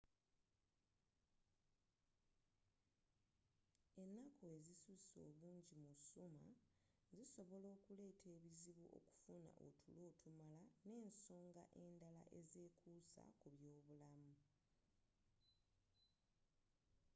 ennaku ezisuse obungi mu summer zisobola okuleta ebizibu okufuna otulo otumala nensonga endaala ezekuusa kubyobulamu